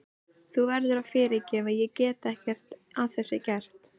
Þú verður að fyrirgefa, ég get ekkert að þessu gert.